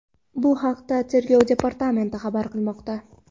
Bu haqda Tergov departamenti xabar qilmoqda .